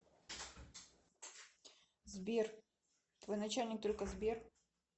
сбер твой начальник только сбер